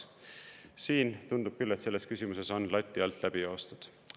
Siin tundub küll, et selles küsimuses on lati alt läbi joostud.